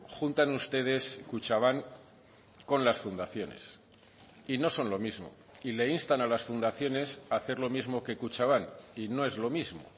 juntan ustedes kutxabank con las fundaciones y no son lo mismo y le instan a las fundaciones a hacer lo mismo que kutxabank y no es lo mismo